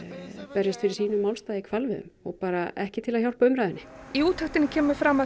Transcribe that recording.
berjast fyrir sínum málstað í hvalveiðum og bara ekki til að hjálpa umræðunni í úttektinni kemur fram að